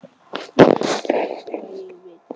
Nú veit ég hvað ég vil.